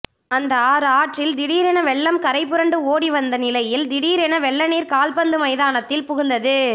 அந்த ஆறு ஆற்றில் திடீரென வெள்ளம் கரைபுரண்டு ஓடி வந்த நிலையில் திடீரென வெள்ளநீர் கால்பந்து மைதானத்தில் புகுந்தது